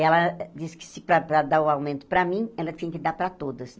Ela disse que para para dar o aumento para mim, ela tinha que dar para todas.